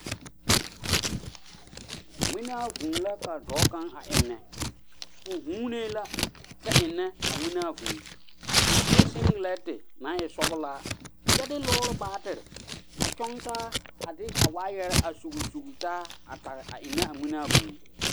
Ŋmenaa vuu la ka dɔɔ kaŋa a eŋnɛ o vuunii la kyɛ ennɛ a ŋmenaa vuu o sue siŋgiliŋti naŋ e sɔglaa kyɛ de lɔɔre batire a kyɔŋ taa a de a waayɛre a sugl sugle taa a ennɛ a ŋmenaa vuu.